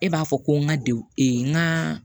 E b'a fɔ ko n ka n ka